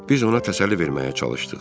Biz ona təsəlli verməyə çalışdıq.